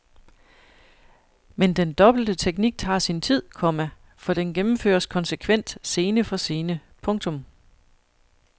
Men den dobbelte teknik tager sin tid, komma for den gennemføres konsekvent scene for scene. punktum